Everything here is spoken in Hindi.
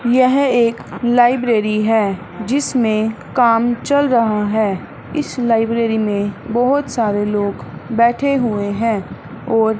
यह एक लाइब्रेरी है जिसमें काम चल रहा है इस लाइब्रेरी में बहोत सारे लोग बैठे हुए हैं और--